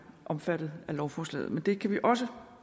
omfattet af lovforslaget men det kan vi også